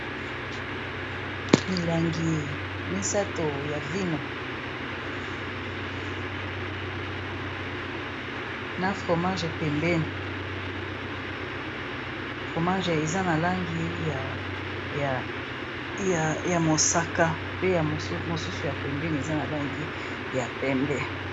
Milangi misato ya vino na fromage pembeni, fromage eza na langi ya mosaka pe mosusu ya pembeni eza na langi ya pembe.